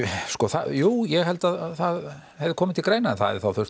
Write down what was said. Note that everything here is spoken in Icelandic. sko jú ég held að það hefði komið til greina en það hefði þá